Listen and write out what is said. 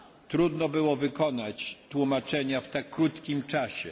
Trudno było wykonać tłumaczenia w tak krótkim czasie.